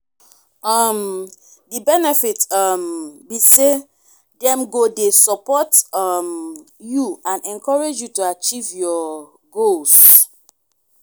um di benefit um be say dem go dey support um you and encourage you to achieve your goals.